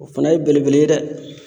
O fana ye belebele ye dɛ